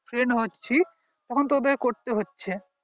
friend হচ্ছি তখন তাদের করতে হচ্ছে